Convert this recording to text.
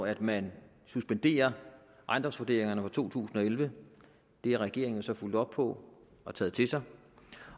at man suspenderer ejendomsvurderingerne fra to tusind og elleve det har regeringen så fulgt op på og taget til sig